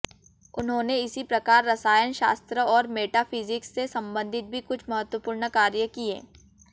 उन्होंने इसी प्रकार रसायनशास्त्र और मेटाफिज़िक्स से संबंधित भी कुछ महत्वपूर्ण कार्य किये